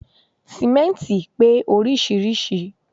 Sìmẹ́ntì pé oríṣiríṣìí